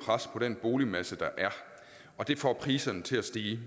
pres på den boligmasse der er og det får priserne til at stige